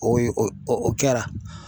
O ye o o kɛra.